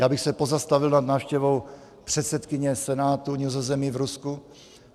Já bych se pozastavil nad návštěvou předsedkyně Senátu Nizozemí v Rusku.